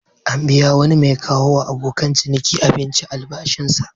An biya wani mai kawowa abokan ciniki abinci albashinsa.